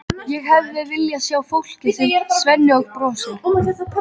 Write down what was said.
Ég hefði viljað sjá fólkið, segir Svenni og brosir.